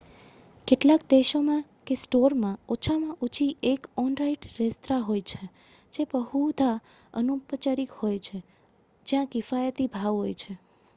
કેટલાક દેશોમાં કે સ્ટોરમાં ઓછામાં ઓછી એક ઑન-સાઇટ રેસ્ત્રાં હોય છે જે બહુધા અનુપચારિક હોય છે અને જ્યાં કિફાયતી ભાવ હોય છે